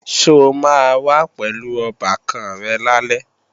Ṣo máa wá pẹ̀lú ọbàkan rẹ̀ lálẹ́?